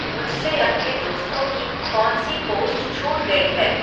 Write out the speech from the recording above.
मुझसे अपने दोस्तों की कौन सी पोस्ट छूट गई है